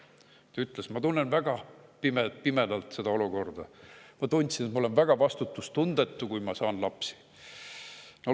Ta ütles, et ta tunnetab seda olukorda väga pimedana, ta tunneb, et ta on väga vastutustundetu, kui ta saab lapsi.